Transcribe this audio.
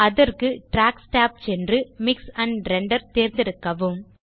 அதற்கு tracks tab சென்று mix and render தேர்ந்தெடுக்கவும்